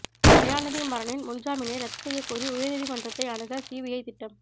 தயாநிதி மாறனின் முன் ஜாமீனை ரத்து செய்யக்கோரி உயர் நீதிமன்றத்தை அணுக சிபிஐ திட்டம்